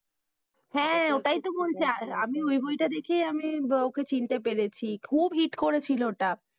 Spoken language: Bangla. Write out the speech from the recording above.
হ্যাঁ, ওটাই তো বলছি আমি ওই বই তাই দেখে, আমি ওকে চিনতে পেরেছি খুব hit করেছিল ওটা,